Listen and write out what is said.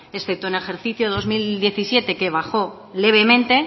excepto en el ejercicio dos mil diecisiete que bajó levemente